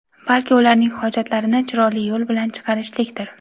balki ularning hojatlarini chiroyli yo‘l bilan chiqarishlikdir.